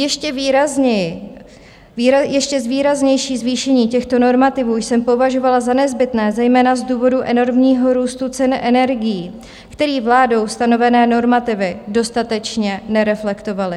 Ještě výraznější zvýšení těchto normativů jsem považovala za nezbytné zejména z důvodu enormního růstu cen energií, který vládou stanovené normativy dostatečně nereflektovaly.